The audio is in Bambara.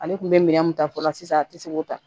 Ale kun bɛ minɛn mun ta fɔlɔ sisan a tɛ se k'o ta